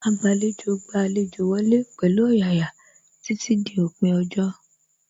Agbàlejò gba àlejò wọlé pẹ̀lú ọ̀yàyà títí dí òpin ọjọ́